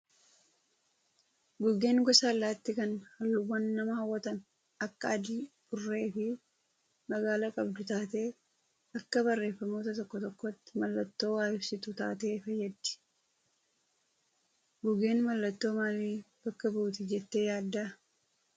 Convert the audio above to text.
Gugeen gosa allaattii kan halluuwwan nama hawwatan akka adii, burree fi magaala qabdu taatee akka barreeffamoota tokko tokkootti mallattoo waa ibsitu taatee fayyaddi. Gugeen mallattoo maalii bakka buuti jettee yaaddaa?